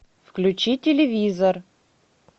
включи телевизор